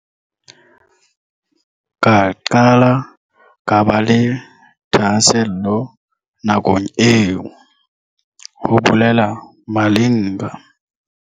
Ka qala ka ba le thahasello nakong eo," ho bolela Malinga.